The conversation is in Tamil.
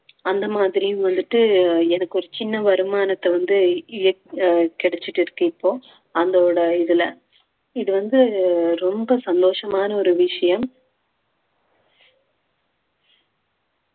அந்த மாதிரி வந்துட்டு எனக்கு ஒரு சின்ன வருமானத்தை வந்து இய~ அஹ் கிடைச்சிட்டு இருக்கு இப்போ அந்தோட ஒரு இதுல இது வந்து ரொம்ப சந்தோஷமான ஒரு விஷயம்